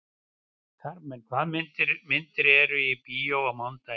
Karmen, hvaða myndir eru í bíó á mánudaginn?